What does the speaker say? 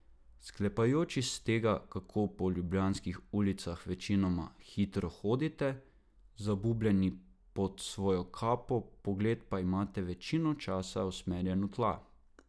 Sklepajoč iz tega, kako po ljubljanskih ulicah večinoma hitro hodite, zabubljeni pod svojo kapo, pogled pa imate večino časa usmerjen v tla ...